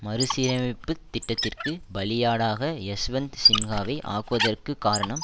மறுசீரமைப்பு திட்டத்திற்கு பலியாடாக யஷ்வந்த் சின்ஹாவை ஆக்குவதற்குக் காரணம்